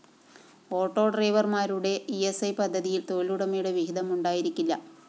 ഓട്ടോഡ്രൈവര്‍മാരുടെ E S I പദ്ധതിയില്‍ തൊഴിലുടമയുടെ വിഹിതം ഉണ്ടായിരിക്കില്ല